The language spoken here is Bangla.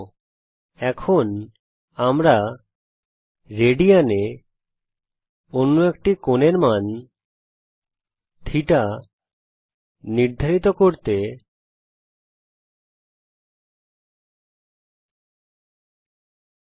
তার জন্য α5732 এর মান বিভাজিত করে আমরা রেডিয়ান এ অন্য একটি কোণের মান θ নির্ধারিত করব